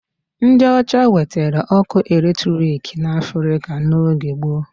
Ndị ọcha wetere ọkụ electric n'Africa n'oge gboo.